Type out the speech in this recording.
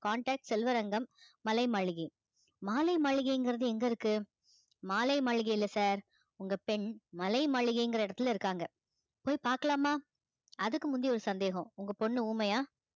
contact Selvarangam மலை மாளிகை மாலை மளிகைங்கிறது எங்க இருக்கு மாலை மளிகை இல்லை sir உங்க பெண் மலை மளிகைங்கிற இடத்துல இருக்காங்க போய் பார்க்கலாமா அதுக்கு முந்தி ஒரு சந்தேகம் உங்க பொண்ணு ஊமையா